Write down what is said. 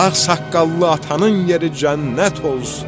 Ağsaqqallı atanın yeri cənnət olsun.